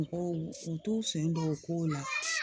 Mɔgɔw u t'u sen don o kow la